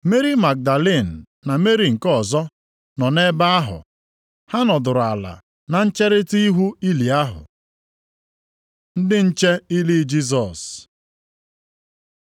Meri Magdalin na Meri nke ọzọ nọ na-ebe ahụ, ha nọdụrụ ala na ncherita ihu ili ahụ. Ndị nche nʼili Jisọs